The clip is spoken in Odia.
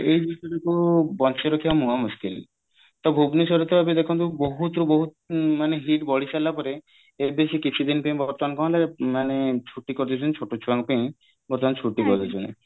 ଏଇ ବଞ୍ଚେଇ ରଖିବା ମହା ମୁସ୍କିଲ ତ ଭୁବନେଶ୍ବରରେ ତ ଏବେ ଦେଖନ୍ତୁ ବହୁତ ବହୁତ ମାନେ heat ବଢି ସାରିଲା ପରେ ଏବେ ସେ କିଛି ଦିନ ପାଇଁ ବର୍ତ୍ତମାନ କଣ ହେଲା ମାନେ ଛୁଟି କରିଦେଇଛନ୍ତି ଛୋଟ ଛୁଆଙ୍କ ପାଇଁ ବର୍ତ୍ତମାନ ଛୁଟି କରିଦେଇଛନ୍ତି